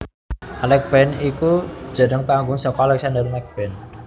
Alex Band iku jenéng panggung saka Alexander Max Band